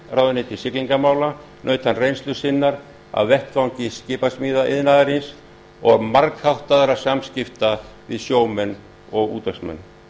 ráðuneyti siglingamála naut hann reynslu sinnar af vettvangi skipasmíðaiðnaðarins og margháttaðra samskipta við sjómenn og útvegsmenn